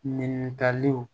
Ɲininkaliw